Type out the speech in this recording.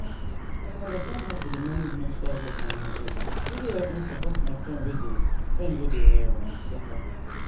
as i understand how to dey manage menstrual health and hygiene really help me support my friend wen dey friend wen dey um suffer